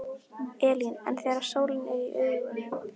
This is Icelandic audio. Elín: En þegar sólin er í augun?